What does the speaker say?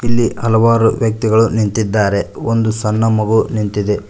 ಇಲ್ಲಿ ಹಲವರು ವ್ಯಕ್ತಿಗಳು ನಿಂತಿದ್ದಾರೆ ಒಂದು ಸಣ್ಣ ಮಗು ನಿಂತಿದೆ.